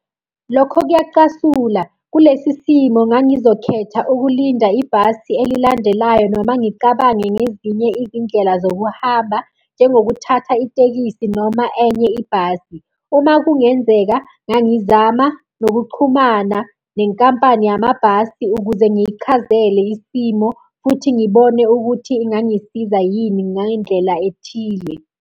Lokho kuyacasula, kulesi simo ngangizokhetha ukulinda ibhasi elilandelayo noma ngicabange ngezinye izindlela zokuhamba, njengokuthatha itekisi noma enye ibhasi. Uma kungenzeka ngangizama nokuchumana nenkampani yamabhasi ukuze ngiyichazele isimo futhi ngibone ukuthi ingangisiza yini ngendlela ethile.